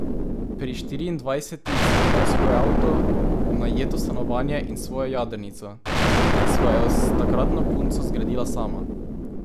Pri štiriindvajsetih sem imel svoj avto, najeto stanovanje in svojo jadrnico, ki sva jo s takratno punco zgradila sama.